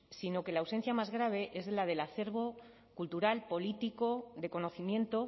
sino que la ausencia más grave es la del acervo cultural político de conocimiento